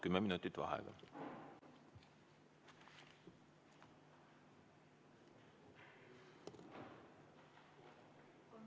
Kümme minutit vaheaega.